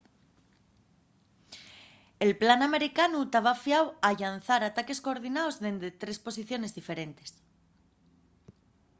el plan americanu taba fiau a llanzar ataques coordinaos dende tres posiciones diferentes